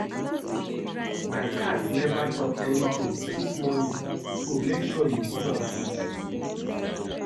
My cat never chop anything since morning so make sure you give am food